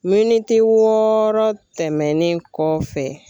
Miniti wɔɔrɔ tɛmɛnen kɔfɛ.